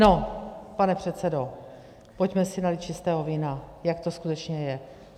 No, pane předsedo, pojďme si nalít čistého vína, jak to skutečně je.